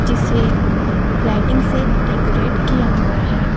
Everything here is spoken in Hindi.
जिसे लाइटिंग से डेकोरेट किया हुए हैं।